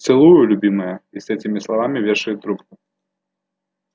целую любимая и с этими словами вешает трубку